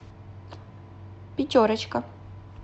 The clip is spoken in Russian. пятерочка